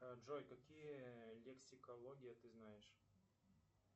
джой какие лексикология ты знаешь